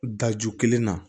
Da ju kelen na